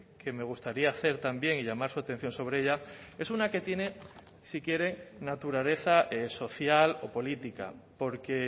que me gustaría hacer también y llamar su atención sobre ella es una que tiene si quiere naturaleza social o política porque